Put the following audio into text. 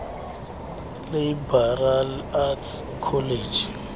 liberal arts college